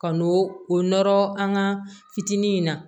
Ka n'o o nɔrɔ an ka fitinin in na